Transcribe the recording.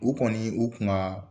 U kɔni u kun ka